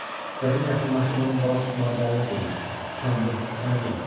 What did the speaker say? İstədim yaxınlaşıb onu balıq tutmağa dəvət eləyim, utandım, sənə dedim.